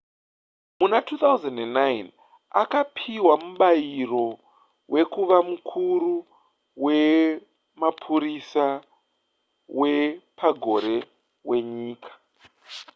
muna 2009 akapiwa mubayiro wekuva mukuru wemapurisa wepagore wenyika